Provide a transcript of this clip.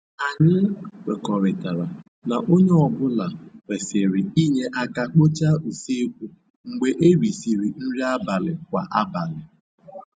Anyị kwekọrịtara na onye ọ bụla kwerisịr inye aka kpochaa usekwu mgbe erisịrị nri abalị kwa abalị